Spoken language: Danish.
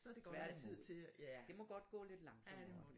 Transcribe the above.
Tværtimod det må godt gå lidt langsommere